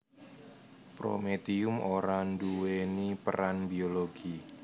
Prometium ora nduwèni peran biologi